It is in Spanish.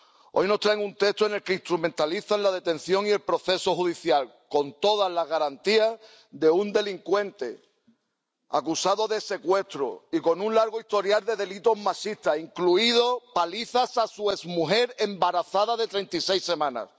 Hoy nos traen un texto en el que instrumentalizan la detención y el proceso judicial, con todas las garantías, de un delincuente acusado de secuestro y con un largo historial de delitos machistas, incluidas palizas a su exmujer embarazada de treinta y seis semanas.